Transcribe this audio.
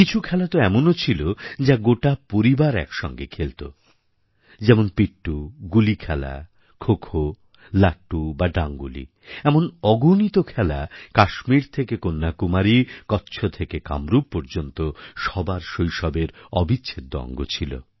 কিছু খেলা তো এমনও ছিল যা গোটা পরিবার একসঙ্গে খেলত যেমন পিট্ঠু গুলি খেলা খোখো লাট্টু বা ডাঙ্গুলি এমন অগণিত খেলা কাশ্মীর থেকে কন্যাকুমারী কচ্ছ থেকে কামরূপ পর্যন্ত সবার শৈশবের অবিচ্ছেদ্য অঙ্গ ছিল